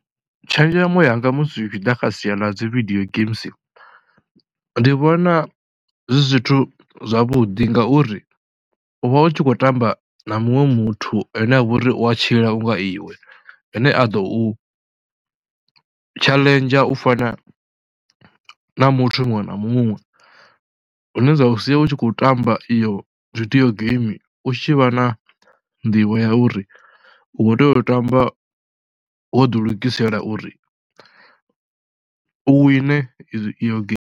Tshenzhemo yanga musi zwi tshi ḓa kha sia ḽa dzi video games, ndi vhona zwi zwithu zwavhuḓi ngauri u vha u tshi khou tamba na muṅwe muthu ane a vha uri u tshila u nga iwe, ane a ḓo u tshaḽenzha u fana na muthu muṅwe na muṅwe, hune zwa sia u tshi khou tamba iyo video game u tshi vha na nḓivho ya uri u khou tea u tou tamba wo ḓilugisela uri wine iyo game.